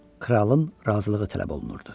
Kralın razılığı tələb olunurdu.